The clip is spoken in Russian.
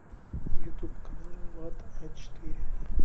ютуб канал вата а четыре